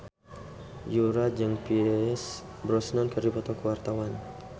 Yura jeung Pierce Brosnan keur dipoto ku wartawan